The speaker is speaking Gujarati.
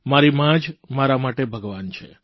મારી મા જ મારા માટે ભગવાન છે